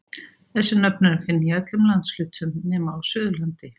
Þessi nöfn er að finna í öllum landshlutum nema á Suðurlandi.